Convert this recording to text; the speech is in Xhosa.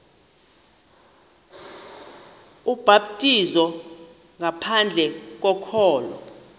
ubhaptizo ngaphandle kokholo